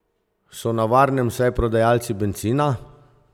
So na varnem vsaj prodajalci bencina?